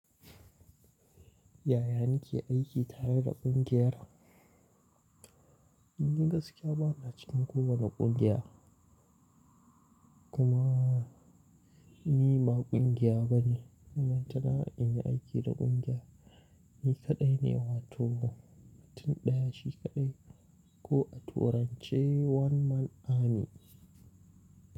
Yaya nike aiki tare da ƙungiyar? Ni gaskiya ba na cikin kowane ƙungiya. Kuma nima ni ba ƙungiya bane. Ina son in yi aiki da ƙungiya, ni kaɗai ne wato mutum ɗaya shi kaɗai koh a turance, one man army.